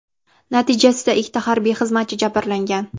Natijasida ikki harbiy xizmatchi jabrlangan.